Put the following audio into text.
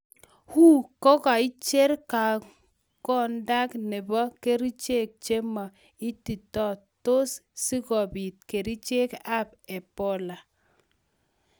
WHO kogaicher kergondak nepo girichek chemo ititotik tos sigopit kerichek ap ebola?